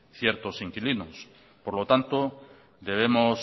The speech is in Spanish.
ciertos inquilinos por lo tanto debemos